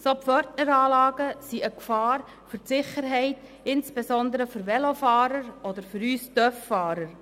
Solche Pförtneranlagen sind eine Gefahr für die Sicherheit, insbesondere für Velofahrer oder für uns Motorradfahrer.